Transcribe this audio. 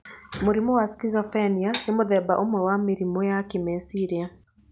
Mũrimũ wa schizophrenia nĩ mũthemba ũmwe wa mĩrimũ ya kĩmeciria.